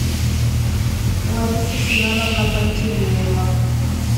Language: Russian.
лариса семеновна пантелеева